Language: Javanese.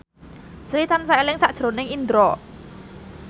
Sri tansah eling sakjroning Indro